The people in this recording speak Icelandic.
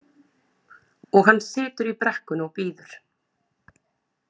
Og hann situr í brekkunni og bíður.